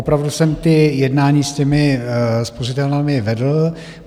Opravdu jsem ta jednání s těmi spořitelnami vedl.